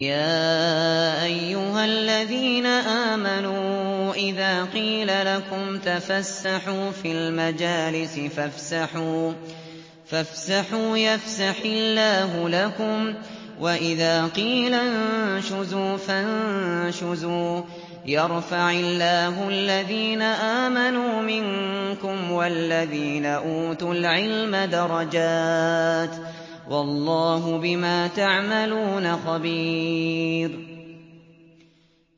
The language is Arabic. يَا أَيُّهَا الَّذِينَ آمَنُوا إِذَا قِيلَ لَكُمْ تَفَسَّحُوا فِي الْمَجَالِسِ فَافْسَحُوا يَفْسَحِ اللَّهُ لَكُمْ ۖ وَإِذَا قِيلَ انشُزُوا فَانشُزُوا يَرْفَعِ اللَّهُ الَّذِينَ آمَنُوا مِنكُمْ وَالَّذِينَ أُوتُوا الْعِلْمَ دَرَجَاتٍ ۚ وَاللَّهُ بِمَا تَعْمَلُونَ خَبِيرٌ